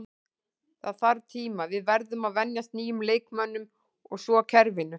Það þarf tíma, við verðum að venjast nýjum leikmönnum og svo kerfinu.